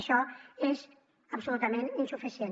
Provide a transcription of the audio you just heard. això és absolutament insuficient